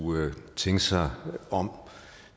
tænke sig om